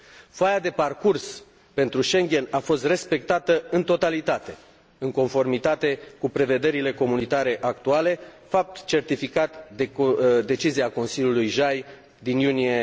Foaia de parcurs pentru Schengen a fost respectată în totalitate, în conformitate cu prevederile comunitare actuale, fapt certificat de decizia Consiliului JAI din iunie